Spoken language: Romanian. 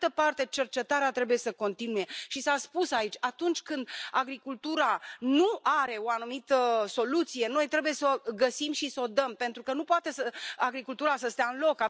Pe de altă parte, cercetarea trebuie să continue și s a spus aici atunci când agricultura nu are o anumită soluție, noi trebuie să o găsim și să o dăm, pentru că nu se poate ca agricultura să stea în loc.